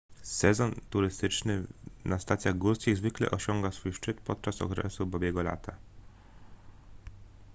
sezon turystyczny na stacjach górskich zwykle osiąga swój szczyt podczas okresu babiego lata